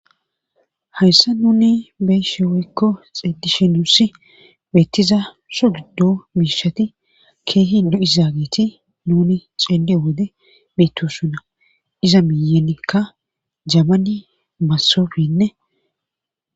Hayssa nuni beyshe woykko xeeddishi nuuss beettiza sho giddo miishati keehin du izaageti nuni ceende wode miitussunna iza miyenikka jamani massofenne.